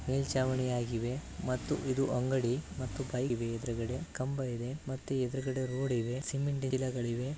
ಮೆಲ್ಚಾವಣಿ ಆಗಿವೆ ಮತ್ತು ಇದು ಅಂಗಡಿ ಮತ್ತು ಕಲ್ಲಿದೆ ಎದ್ರುಗಡೆ ಕಂಬವಿದೆ ಮತ್ತೆ ಎದ್ರುಗಡೆ ರೊಡಿ ವೆ ಸಿಮಿಂಟಿನ ಗಿಡಗಳಿವೆ .